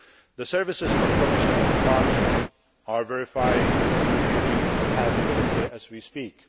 June. The services of Commissioner Malmström are verifying its European Union compatibility as we speak.